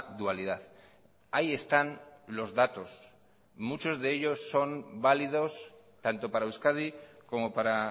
dualidad ahí están los datos muchos de ellos son válidos tanto para euskadi como para